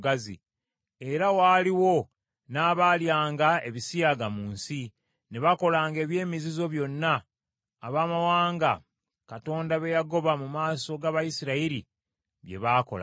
Era waaliwo n’abaalyanga ebisiyaga mu nsi, ne bakolanga eby’emizizo byonna abamawanga Katonda be yagoba mu maaso g’Abayisirayiri bye baakolanga.